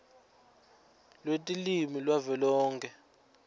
lwetilwimi lwavelonkhe nls